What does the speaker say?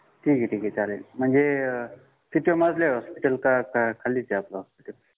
ठीक आहे ठीक आहे चालेल म्हणजे कितव्या मजल्यावर हॉस्पिटल का का खालीच आपला हॉस्पिटल